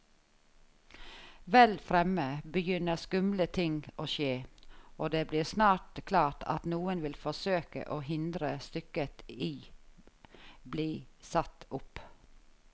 Vel fremme begynner skumle ting å skje, og det blir snart klart at noen vil forsøke å hindre stykket i bli satt opp.